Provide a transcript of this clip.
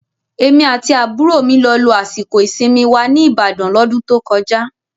Èmi àti àbúrò mi lọ lo àsìkò ìsinmi wa ní Ìbàdàn L'ọ́dún tó kọjá